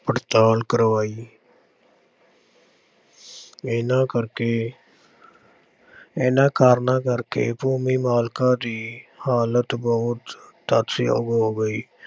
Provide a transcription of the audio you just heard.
ਪੜ੍ਹਤਾਲ ਕਰਵਾਈ ਇਹਨਾਂ ਕਰਕੇ ਇਹਨਾਂ ਕਾਰਨਾਂ ਕਰਕੇ ਭੂਮੀ ਮਾਲਕਾਂ ਦੀ ਹਾਲਤ ਬਹੁਤ ਤਰਸਯੋਗ ਹੋ ਗਈ।